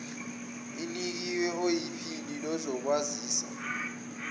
inikwe oyiphini lezokwazisa